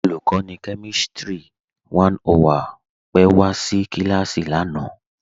Olùkọ̀nì kẹmìstrì 101 wa pẹ̀ sí kílásì lánà.